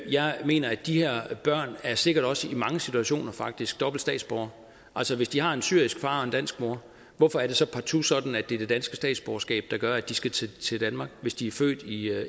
jeg mener at de her børn sikkert også i mange situationer faktisk er dobbelte statsborgere altså hvis de har en syrisk far og en dansk mor hvorfor er det så partout sådan at det er det danske statsborgerskab der gør at de skal til til danmark hvis de er født i